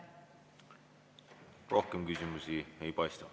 Rohkem küsimusi ei paista.